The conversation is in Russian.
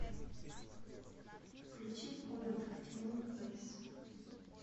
включи в комнатах тьмы фэйс